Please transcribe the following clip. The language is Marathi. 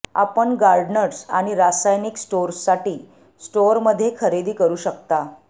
आपण गार्डनर्स आणि रासायनिक स्टोअर्ससाठी स्टोअरमध्ये खरेदी करू शकता